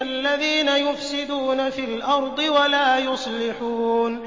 الَّذِينَ يُفْسِدُونَ فِي الْأَرْضِ وَلَا يُصْلِحُونَ